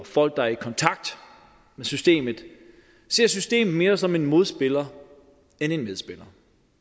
folk der er i kontakt med systemet ser systemet mere som en modspiller end en medspiller